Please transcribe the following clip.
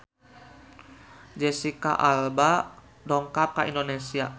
Jesicca Alba dongkap ka Indonesia